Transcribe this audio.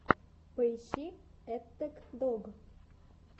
поищи эттэк дог